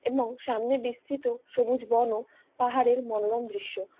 এবং সামনে বিস্তৃত সবুজ বন ও পাহাড়ের মনোরম দৃশ্য।